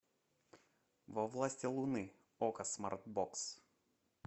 во власти луны окко смарт бокс